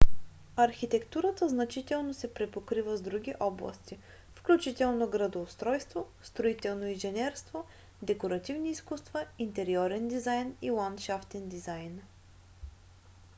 архитектурата значително се препокрива с други области включително градоустройство строително инженерство декоративни изкуства интериорен дизайн и ландшафтен дизайн